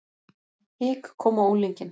Hik kom á unglinginn.